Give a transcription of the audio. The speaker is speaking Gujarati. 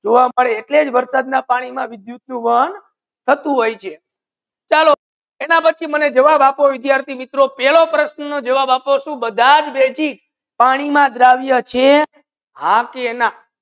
જુવા મલે એટલે વરસાદ ના પાની મા વિદ્યુત નુ વહન થતુ હોય છે ચાલો એના પચી મને જવાબ આપો વિદ્યાર્થિ મિત્રો પેલો પ્રશ્ન નૂ જવાબ આપો સુ બધાજ બેસી પાની ના દ્રવ્ય છે હા કે ના